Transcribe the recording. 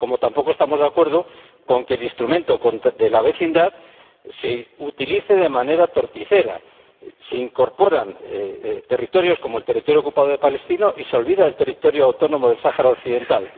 Como tampoco estamos de acuerdo con que el Instrumento Europeo de Vecindad se utilice de manera torticera, incorporando territorios como el territorio ocupado de Palestina y olvidando el territorio autónomo del Sáhara Occidental.